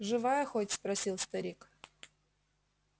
живая хоть спросил старик